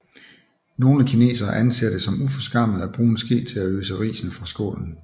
Nogle kinesere anser det som uforskammet at bruge en ske til at øse risene fra skålen